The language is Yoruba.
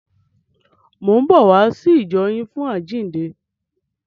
Mò ń bọ̀ wá sí ìjọ yín fún àjíǹde.